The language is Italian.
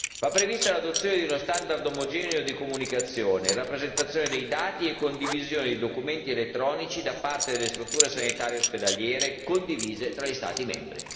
Va prevista l'adozione di uno standard omogeneo di comunicazione e rappresentazione dei dati e condivisione di documenti elettronici da parte delle strutture sanitarie e ospedaliere condivise tra gli Stati membri.